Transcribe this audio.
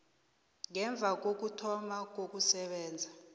ngemva kokuthoma kokusebenza